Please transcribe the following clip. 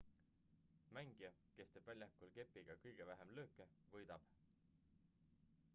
mängija kes teeb väljakul kepiga kõige vähem lööke võidab